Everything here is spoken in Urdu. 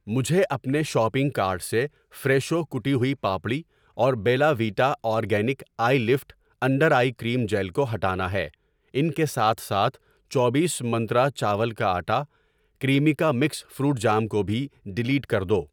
مجھے اپنے شاپنگ کارٹ سے فریشو کٹی ہوئی پاپڑی اور Bella Vita organic eye lift under eye cream gel کو ہٹانا ہے۔ ان کے ساتھ ساتھ، چوبیس منترا چاول کا آٹا ، کریمیکا مکس فروٹ جام کو بھی ڈیلیٹ کر دو۔